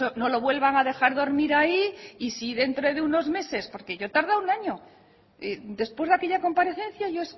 no lo vuelvan a dejar dormir ahí y si dentro de unos meses porque yo he tardado un año después de aquella comparecencia yo